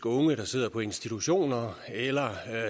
unge der sidder på institutioner eller